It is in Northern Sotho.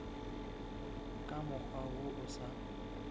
ka mokgwa wo o sa